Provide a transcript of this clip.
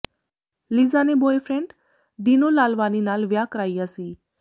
Lisa ਨੇ boyfriend Dino Lalvani ਨਾਲ ਵਿਆਹ ਕਰਾਇਆ ਸੀ